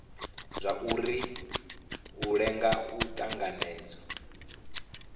zwauri u lenga u tanganedzwa